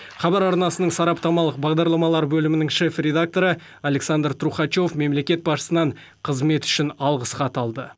хабар арнасының сараптамалық бағдарламалар бөлімінің шеф редакторы александр трухачев мемлекет басшысынан қызметі үшін алғысхат алды